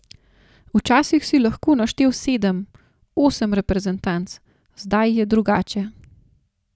Včasih si lahko naštel sedem, osem reprezentanc, zdaj je drugače.